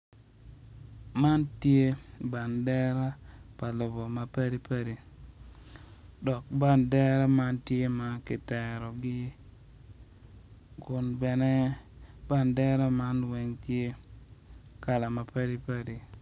Man tye bandera pa lobo mapadipadi dok bandera man tye ma ki terogi kun bene bandera man weng tye kala madipadi